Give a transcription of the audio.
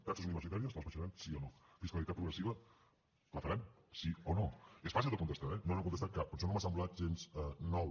taxes universitàries les abaixaran sí o no fiscalitat progressiva la faran sí o no és fàcil de contestar eh no n’han contestat cap per això no m’ha semblat gens nou